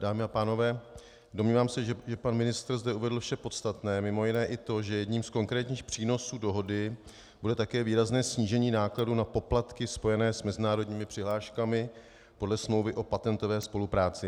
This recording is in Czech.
Dámy a pánové, domnívám se, že pan ministr zde uvedl vše podstatné, mimo jiné i to, že jedním z konkrétních přínosů dohody bude také výrazné snížení nákladů na poplatky spojené s mezinárodními přihláškami podle smlouvy o patentové spolupráci.